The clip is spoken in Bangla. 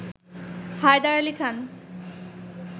হায়দার আলী খান